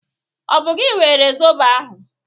Ọ bụ gi were zọbọ ahụ?